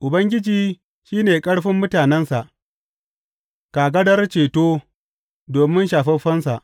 Ubangiji shi ne ƙarfin mutanensa, kagarar ceto domin shafaffensa.